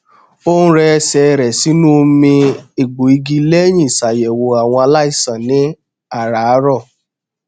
ó n rẹ ẹsẹ rẹ sínú omi egbò igi lẹyìn ìṣàyẹwò àwọn aláìsàn ní àràárọ